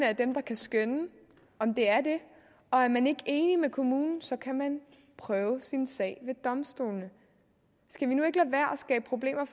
er dem der kan skønne om det er det og er man ikke enig med kommunen kan man prøve sin sag ved domstolene skal vi nu ikke at skabe problemer